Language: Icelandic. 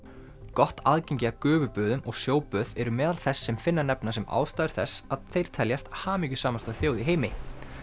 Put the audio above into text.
gott aðgengi að gufuböðum og eru meðal þess sem Finnar nefna sem ástæður þess að þeir teljast hamingjusamasta þjóð í heimi